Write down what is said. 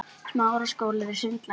Þetta á að gerast strax.